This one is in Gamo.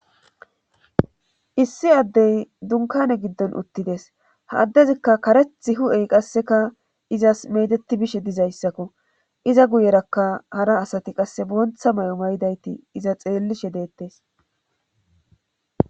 Issi addey dunkane giddon uttides ha addezikka kareth hu7ey qasseka izas medeti bishe dizayssakko iza guyerakka hara asati qasse boontha may7o maydayti iza xeellishe deettes.